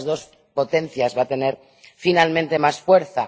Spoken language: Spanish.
¿Cuál de las dos potencias va a tener finalmente más fuerza?